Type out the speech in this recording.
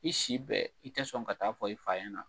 I si bɛɛ, i tɛ sɔn ka taa fɔ i fa yana.